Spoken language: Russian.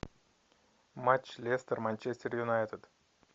матч лестер манчестер юнайтед